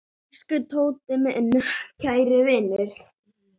Elsku Tóti, minn kæri vinur.